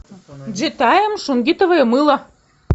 джитайм шунгитовое мыло